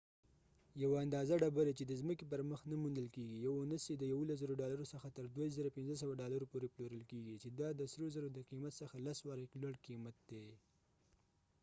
یوه اندازه ډبری چې د څمکې پر مخ نه موندل کېږی . یو اونس یې د 11،000 ‌ډالرو څخه تر 22،500 ډالرو پورې پلورل کېږی . چې دا د سرو زرو د قیمت څخه لس واری لوړ قیمت دي